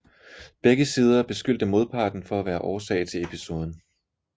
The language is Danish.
Begge sider beskyldte modparten for at være årsag til episoden